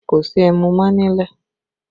Kò sí ẹmu mọ́ nílẹ̀